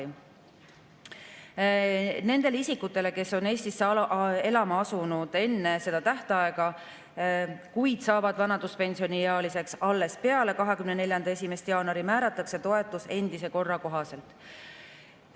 ] Nendele isikutele, kes on Eestisse elama asunud enne seda tähtaega, kuid kes saavad vanaduspensioniealiseks alles peale 2024. aasta 1. jaanuari, määratakse toetus endise korra kohaselt.